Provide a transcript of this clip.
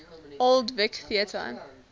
old vic theatre